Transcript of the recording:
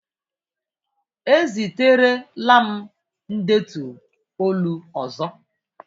Eziterela m ndetu olu ọzọ!